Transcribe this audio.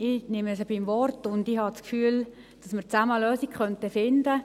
Ich nehme sie beim Wort und habe das Gefühl, dass wir gemeinsam eine Lösung finden könnten.